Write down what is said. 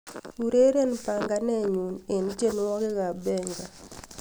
ureren panganenyun en tienwogik ab benga